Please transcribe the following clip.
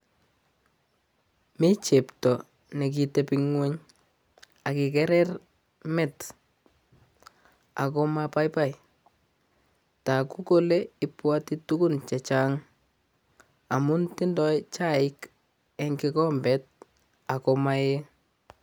Mi chepto ne kitepi nguny akikerer met, ago mabaibai, toku kole ibwati tugun chechang amun tindoi chaik eng kikombet ako maee.